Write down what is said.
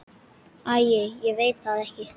Æi ég veit það ekki.